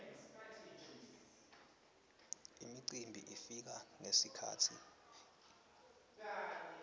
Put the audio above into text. imicimbi ifika ngetikhatsi letehlukene